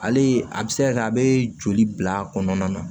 Ale a bɛ se ka kɛ a bɛ joli bila kɔnɔna na